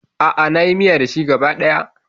A'a, na yi miya da shi gaba ɗaya.